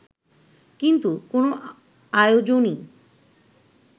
কিন্তু কোনো আয়োজনই